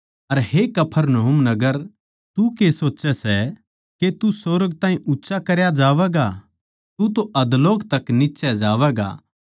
अर हे कफरनहूम नगर तू के सोचै सै के तू सुर्ग ताहीं ऊँच्चा करया जावैगा तू तो अधोलोक तक नीच्चै जावैगा